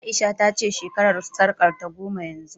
A'isha ta ce shekarar sarƙarta goma yanzu